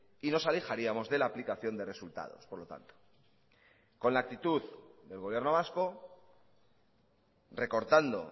y nos alejaríamos de la aplicación de resultados por lo tanto con la actitud del gobierno vasco recortando